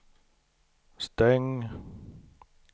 stäng